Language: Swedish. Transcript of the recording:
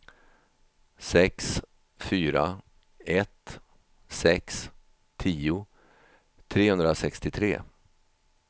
sex fyra ett sex tio trehundrasextiotre